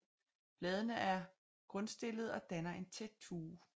Bladene er grundstillede og danner en tæt tue